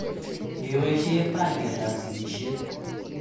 Ngeboishe panganeet ap sigisheet.